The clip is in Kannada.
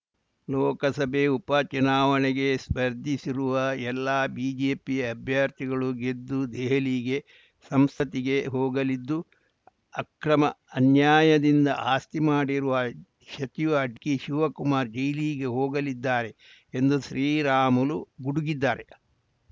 ಲೋಕಸಭೆ ಉಪ ಚುನಾವಣೆಗೆ ಸ್ಪರ್ಧಿಸಿರುವ ಎಲ್ಲ ಬಿಜೆಪಿ ಅಭ್ಯರ್ಥಿಗಳು ಗೆದ್ದು ದೆಹಲಿಗೆ ಸಂಸತ್ತಿಗೆ ಹೋಗಲಿದ್ದು ಅಕ್ರಮ ಅನ್ಯಾಯದಿಂದ ಆಸ್ತಿ ಮಾಡಿರುವ ಸಚಿವ ಡಿಕೆಶಿವಕುಮಾರ ಜೈಲಿಗೆ ಹೋಗಲಿದ್ದಾರೆ ಎಂದು ಶ್ರೀರಾಮುಲು ಗುಡುಗಿದ್ದಾರೆ